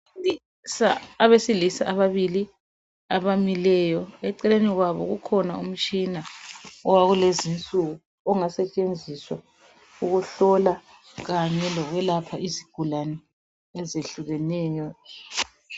abesilisa ababili abamileyo eceleni kwabo kukhona umtshina owakulezinsuku ongasetshenziswa ukuhlola kanye lokwelapha izigulane ezehlukeneyo